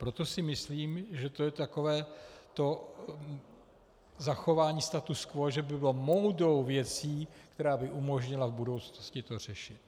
Proto si myslím, že to je takové to zachování statu quo, že by bylo moudrou věcí, která by umožnila v budoucnosti to řešit.